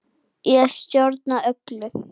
Ég stjórna öllu.